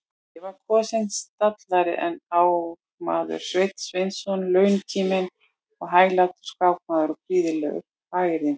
Ég var kosinn stallari en ármaður Sveinn Sveinsson, launkíminn og hæglátur skákmaður og prýðilegur hagyrðingur.